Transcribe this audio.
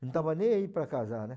Não tava nem aí para casar, né?